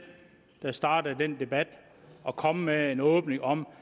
der startede den debat og kom med en åbning om